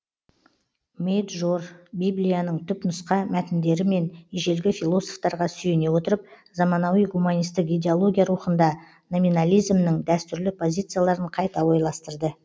мейджор библияның түпнұсқа мәтіндері мен ежелгі философтарға сүйене отырып заманауи гуманистік идеология рухында номинализмнің дәстүрлі позицияларын қайта ойластырды